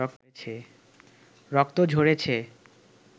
রক্ত ঝরেছে